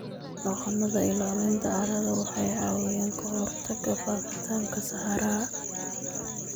Dhaqannada ilaalinta carrada waxay caawiyaan ka hortagga faafitaanka saxaraha.